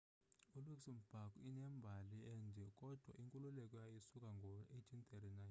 iluxembourg inembali ende kodwa inkululeko yayo isukela ngo-1839